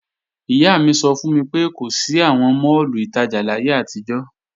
Ìyá mi sọ fún mi pé kò sí àwọn máàlù ìtajà láyé àtijọ́